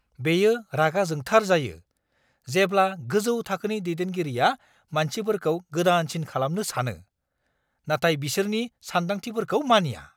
बेयो रागा जोंथार जायो, जेब्ला गोजौ थाखोनि दैदेनगिरिया मानसिफोरखौ गोदानसिन खालामनो सानो, नाथाय बिसोरनि सानदांथिफोरखौ मानिया!